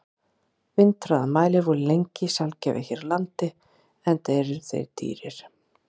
Vindhraðamælar voru lengi sjaldgæfir hér á landi, enda eru þeir dýrir.